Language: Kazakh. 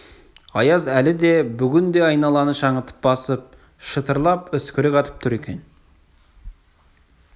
аяз әлі де бүгін де айналаны шаңытып басып шытырлап үскірік атып тұр екен